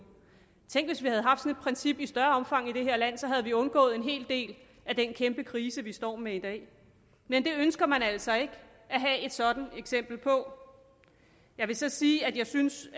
tænk hvis vi havde haft sådan et princip i større omfang i det her land så havde vi undgået en hel del af den kæmpe krise vi står med i dag men det ønsker man altså ikke at have et sådant eksempel på jeg vil så sige at jeg synes